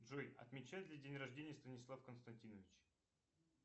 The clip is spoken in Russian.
джой отмечает ли день рождения станислав константинович